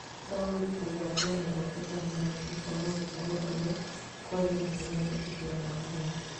Mũtaũri kũgwatwa mĩgwate Tanzania nĩkwaga gũtaũra ũrĩa kwagĩrĩire mendikithia ma mũgeni